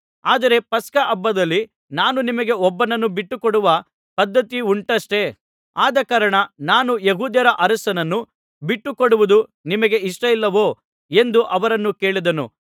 ಆದರೆ ಪಸ್ಕ ಹಬ್ಬದಲ್ಲಿ ನಾನು ನಿಮಗೆ ಒಬ್ಬನನ್ನು ಬಿಟ್ಟು ಕೊಡುವ ಪದ್ಧತಿ ಉಂಟಷ್ಟೆ ಆದಕಾರಣ ನಾನು ಯೆಹೂದ್ಯರ ಅರಸನನ್ನು ಬಿಟ್ಟು ಕೊಡುವುದು ನಿಮಗೆ ಇಷ್ಟವೋ ಎಂದು ಅವರನ್ನು ಕೇಳಿದನು